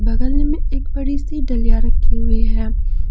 बगल में एक बड़ी सी डलिया रखी हुई है।